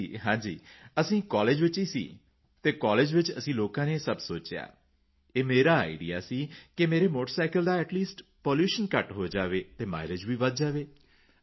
ਹਾਂ ਜੀ ਹਾਂ ਜੀ ਅਸੀਂ ਕਾਲੇਜ ਵਿੱਚ ਹੀ ਸੀ ਅਤੇ ਕਾਲੇਜ ਵਿੱਚ ਅਸੀਂ ਲੋਕਾਂ ਨੇ ਇਹ ਸਭ ਸੋਚਿਆ ਇਹ ਮੇਰਾ ਆਈਡੀਈਏ ਸੀ ਕਿ ਮੇਰੇ ਮੋਟਰਸਾਈਕਲ ਦਾ ਏਟੀ ਲੀਸਟ ਪੋਲੂਸ਼ਨ ਘੱਟ ਹੋ ਜਾਏ ਅਤੇ ਮਾਈਲੇਜ ਵਧ ਜਾਏ